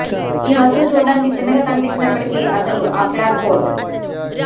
ఈ వస్తువు చూడటానికి చిన్నగా కనిపించినప్పటికీ అసలు ఆ క్లాప్ బోర్డు